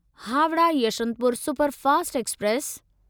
Howrah Yeshwantpur superfast express